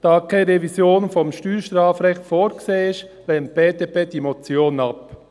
Da keine Revision des Steuerstrafrechts vorgesehen ist, lehnt die BDP diese Motion ab.